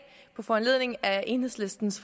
på foranledning af enhedslistens